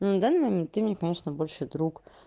на данный момент ты мне конечно больше друг